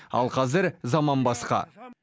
ал қазір заман басқа